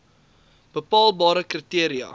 bepaalbare kri teria